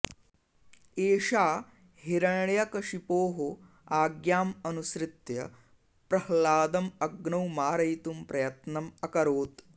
एषा हिरण्यकशिपोः आज्ञाम् अनुसृत्य प्रह्लादम् अग्नौ मारयितुं प्रयत्नम् अकोरत्